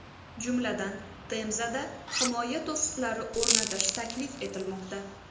Jumladan, Temzada himoya to‘siqlari o‘rnatish taklif etilmoqda.